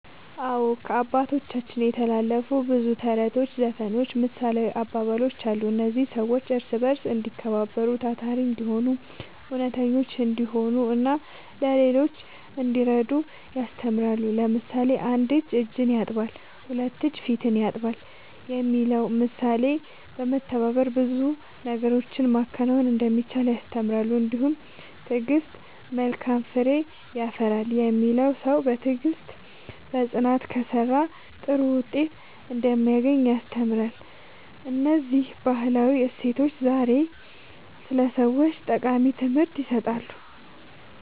አዎ፣ ከአባቶቻችን የተላለፉ ብዙ ተረቶች፣ ዘፈኖችና ምሳሌያዊ አባባሎች አሉ። እነዚህ ሰዎች እርስ በርስ እንዲከባበሩ፣ ታታሪ እንዲሆኑ፣ እውነተኞች እንዲሆኑና ለሌሎች እንዲረዱ ያስተምራሉ። ለምሳሌ፣ ‘አንድ እጅ እጅን ያጥባል፣ ሁለት እጅ ፊትን ያጥባል’ የሚለው ምሳሌ በመተባበር ብዙ ነገሮችን ማከናወን እንደሚቻል ያስተምራል። እንዲሁም ‘ትዕግሥት መልካም ፍሬ ያፈራል’ የሚለው ሰው በትዕግሥትና በጽናት ከሠራ ጥሩ ውጤት እንደሚያገኝ ያስተምራል። እነዚህ ባህላዊ እሴቶች ዛሬም ለሰዎች ጠቃሚ ትምህርት ይሰጣሉ።"